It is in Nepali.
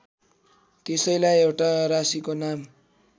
त्यसैलाई एउटा राशीको नाम